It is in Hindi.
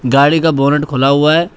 गाड़ी का बोनट खुला हुआ है।